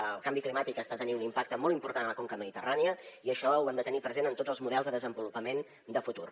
el canvi climàtic està tenint un impacte molt important a la conca mediterrània i això ho hem de tenir present en tots els models de desenvolupament de futur